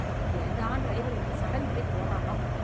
ஏன்தான் driver இப்படி sudden brake போடறானோ?